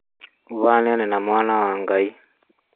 ũhanaine na mwana wa Ngai